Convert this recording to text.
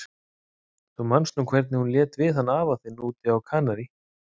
Þú manst nú hvernig hún lét við hann afa þinn úti á Kanarí.